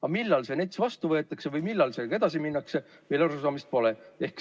Aga millal see NETS vastu võetakse või millal sellega edasi minnakse, sellest meil arusaamist pole.